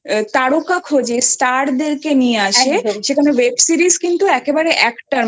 তারকা খোঁজে Star দেরকে নিয়ে আসে সেখানে web series কিন্তু একেবারে actor